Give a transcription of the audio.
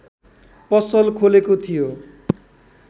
पसल खोलेको थियो